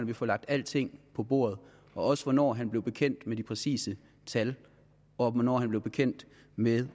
vi får lagt alting på bordet også hvornår han blev bekendt med de præcise tal og hvornår han blev bekendt med